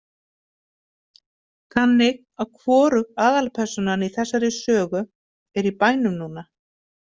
Þannig að hvorug aðalpersónan í þessari sögu er í bænum núna?